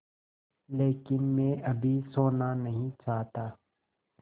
लेकिन मैं अभी सोना नहीं चाहता